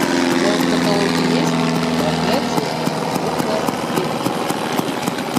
в твоем каталоге есть проклятие кукла ведьмы